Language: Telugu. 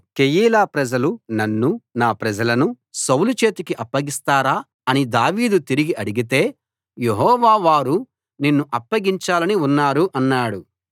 కెయీలా ప్రజలు నన్నూ నా ప్రజలనూ సౌలు చేతికి అప్పగిస్తారా అని దావీదు తిరిగి అడిగితే యెహోవా వారు నిన్ను అప్పగించాలని ఉన్నారు అన్నాడు